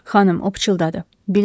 Xanım, o pıçıldadı.